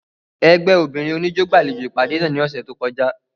Ẹgbẹ obinrin oniijó gbalejo ipade náa ni ọsẹ to kọja.